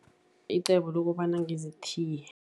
Icebo lokobana ngizithiye.